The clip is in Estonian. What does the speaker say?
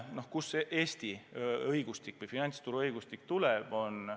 Kust Eesti õigustik või finantsturuõigustik tuleb?